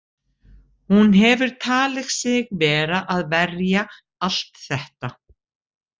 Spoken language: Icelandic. Hún hefur talið sig vera að verja allt þetta.